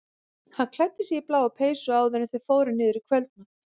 Hann klæddi sig í bláa peysu áður en þau fóru niður í kvöldmat.